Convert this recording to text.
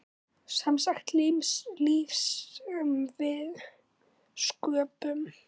Semsagt líf sem við sköpum.